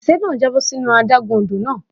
Òṣìṣẹ́ náà já bọ́ sínú adágún odò náà.